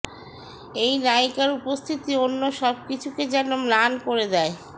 এই নায়িকার উপস্থিতি অন্য সবকিছুকে যেন ম্লান করে দেয়